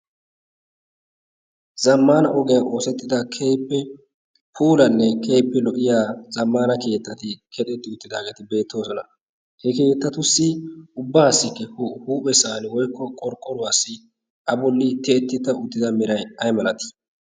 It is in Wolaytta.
Zamaana ogiyan oosettida keehippe puullanne keehippe lo'iya zamaana keettatti keexetti uttidaageeti beetosona. he keettatussi ubaassi huphesaani woykko qorqqoruwassi a bolli tiyetida uttida meray ay malatii?